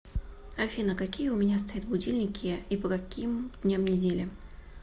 афина какие у меня стоят будильники и по каким дням недели